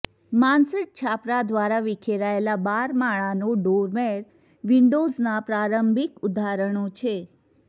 mansard છાપરા દ્વારા વિખેરાયેલા બારમાળાનો ડોરમેર વિન્ડોઝના પ્રારંભિક ઉદાહરણો છે